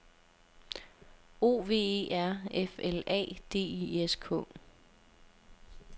O V E R F L A D I S K